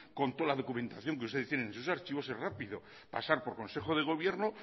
con toda la documentación que ustedes tienen en sus archivos es rápido pasar por consejo de gobierno